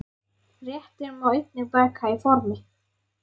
Réttinn má einnig baka í ofni.